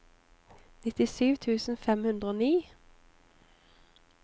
nittisju tusen fem hundre og ni